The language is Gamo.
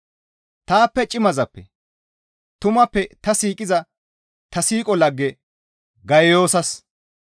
Taappe cimazappe, tumappe ta siiqiza ta siiqo lagge Gayiyoosas,